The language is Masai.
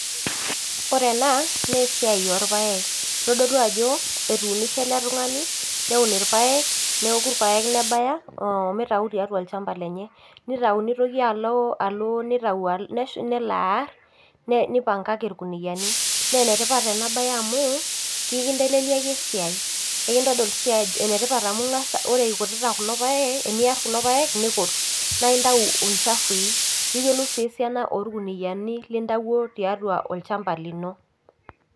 Oree ena naa esiai orpayek kitodolu ajo etuunishe ele tung'ani neun irpayek neoku irpayek nebaya omitau tiatua olchamba lenye nitau nitoki alo alo nitau alo nelo arr ne nipangaki irkuniani nenetipat ena baye amu kikinteleliaki esiai ekintodol sii enetipat amu ing'as ore ikutita kulo payek eniarr kulo payek naa intau ilchafui niyiolou sii esiana orkuniani lintawuo tiatua olchamba lino.